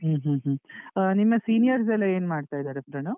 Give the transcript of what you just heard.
ಹ್ಮ್ ಹ್ಮ್ ಹ್ಮ್ ಆ ನಿಮ್ಮ seniors ಎಲ್ಲ ಏನ್ ಮಾಡ್ತಾ ಇದ್ದಾರೆ ಪ್ರಣವ್?